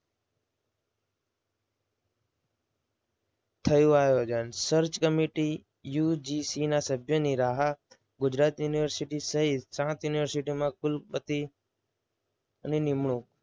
થયું આયોજન. search committee UGC ના સભ્યને રાહ ગુજરાત યુનિવર્સિટી સહિત સાત યુનિવર્સિટીના કુલપતિ નિમણૂક